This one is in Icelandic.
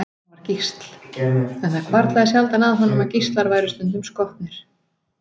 Hann var gísl, en það hvarflaði sjaldan að honum að gíslar væru stundum skotnir.